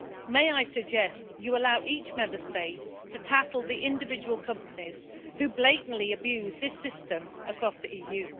May I suggest you allow each Member State to tackle the individual companies who blatantly abuse this system across the EU?